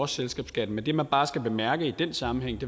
selskabsskatten men det man bare skal bemærke i den sammenhæng